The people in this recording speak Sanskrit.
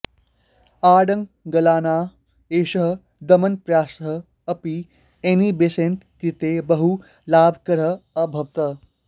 आङ्ग्लानाम् एषः दमनप्रयासः अपि एनी बेसन्ट् कृते बहु लाभकरः अभवत्